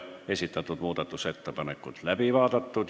Esitatud muudatusettepanekud on läbi vaadatud.